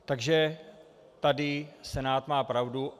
Takže tady Senát má pravdu.